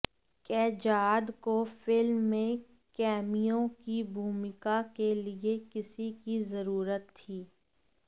कैजाद को फिल्म में कैमियो की भूमिका के लिए किसी की जरूरत थी